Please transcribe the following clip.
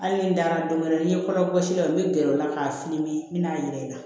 Hali ni dara don wɛrɛ ni ye kɔrɔbɔsira n bɛ gɛrɛ o la k'a fili n bɛna n yɛrɛ ta